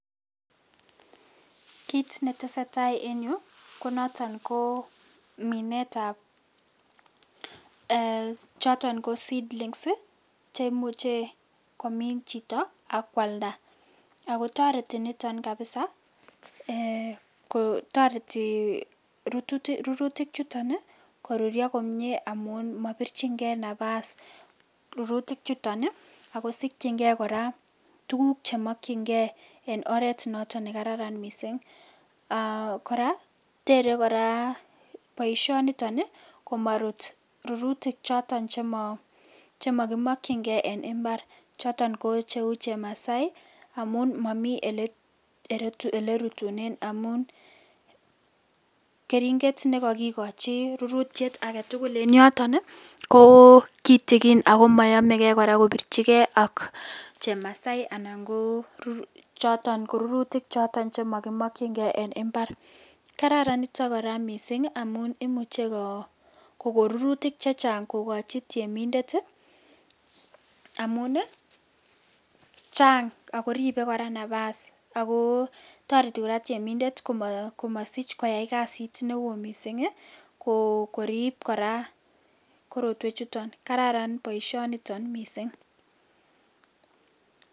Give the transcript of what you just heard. Kiit netesetai en yuu ko noton ko minetab eeh choton ko seedlings chemuche komin chito ak kwalda ak kotoreti niton kabisa ko toreti rurutik chuton koruryo komie amun mobirchinge nabas rurutik chuton ak kosikying'e kora tukuk chemokying'e en oreet noton nekararan mising , kora teree boishoniton komorut rurutik choton chemo kimokying'e en imbar choton ko cheuu chemasai amun momii elee rutunen amun kering'et nekokikochi rurutyet aketukul en yoton ko kitikin ak ko moyomeke kora kobirchike ak chemasai choton ko rurutik choton chemo kimokying'e en imbar, kararan niton mising amun imuche kokoo rurutik chechang kokochi temindet amun chaang ak koribe kora nabas ak ko toreti kora temindet komosich koyai kasit newo mising korib kora korotwechuton, kararan boishoniton mising.